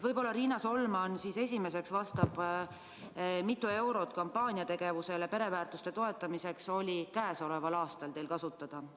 Võib-olla Riina Solman siis kõigepealt vastab, mitu eurot oli käesoleval aastal kasutada kampaaniategevuseks, et toetada pereväärtusi.